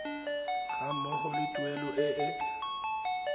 ga mmogo le tuelo e